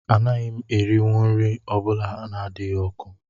Anaghị m erinwu nri ọ bụla adịghị ọkụ